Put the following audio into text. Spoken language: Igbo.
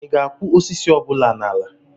ị ga-akụ osisi ọ bụla n'ala a?